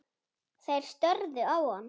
Þeir störðu á hann.